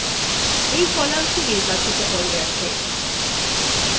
এই columnthe নির্বাচিত হয়ে গেছে